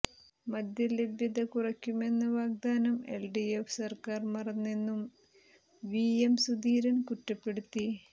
മദ്യലഭ്യത കുറയ്ക്കുമെന്ന വാഗ്ദാനം എൽഡിഎഫ് സർക്കാർ മറന്നെന്നും വി എം സുധീരൻ കുറ്റപ്പെടുത്തി